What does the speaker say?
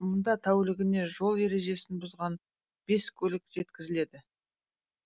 мұнда тәулігіне жол ережесін бұзған бес көлік жеткізіледі